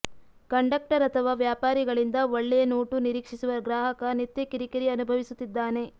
conductor ಅಥವಾ ವ್ಯಾಪಾರಿಗಳಿಂದ ಒಳ್ಳೆಯ ನೋಟು ನಿರೀಕ್ಷಿಸುವ ಗ್ರಾಹಕ ನಿತ್ಯ ಕಿರಿಕಿರಿ ಅನುಭವಿಸುತ್ತಿದ್ದಾನೆ